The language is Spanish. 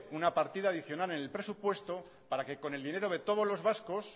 una partida adicional en el presupuesto para que con el dinero de todos los vascos